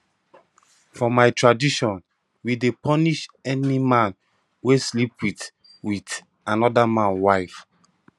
for my tradition we dey punish any man wey sleep wit wit anoda man wife